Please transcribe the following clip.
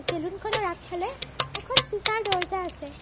Salon খনৰ আগফালে এখন চিচাঁৰ দৰ্জা আছে।